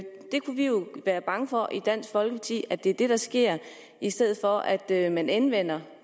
være bange for i dansk folkeparti at det er det der sker i stedet for at at man anvender